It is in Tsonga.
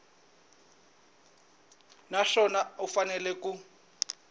na swona u fanele ku